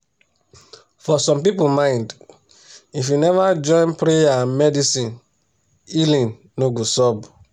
for some people mind if you never join prayer and medicine healing no go sub